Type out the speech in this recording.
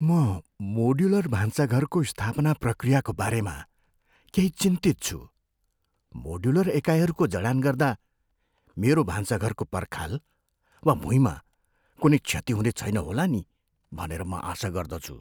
म मोड्युलर भान्साघरको स्थापना प्रक्रियाको बारेमा केही चिन्तित छु। मोड्युलर एकाइहरूको जडान गर्दा मेरो भान्साघरको पर्खाल वा भुइँमा कुनै क्षति हुने छैन होला नि भनेर म आशा गर्दछु।